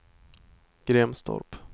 Grimstorp